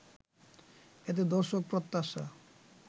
এতে দর্শক প্রত্যাশা